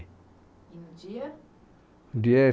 E no dia?